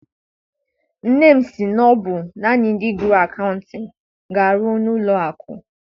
Nne m sị na ọ bụ naanị ndị gụrụ akaụtịn ga- arụ n'ụlọ akụ.